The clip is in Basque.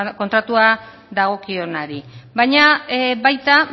kontratua dagokionari baina baita